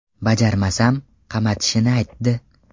Bajarmasam, qamatishini aytdi.